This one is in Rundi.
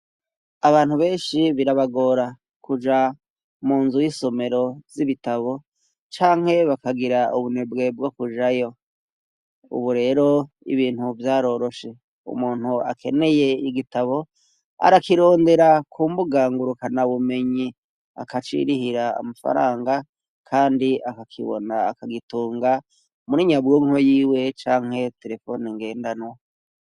Abantu benshi birabagora kuja mu nzu y'isomero z'ibitabo canke bakagira ubunebwe bwo kujayo, ubu rero ibintu vyaroroshe umuntu akeneye igitabo arakirondera kumbugangurukana bumenyi akacirihira amafaranga, kandi akakibona akagitunga muri nyabwonko yiwe canke telefoni ngendano.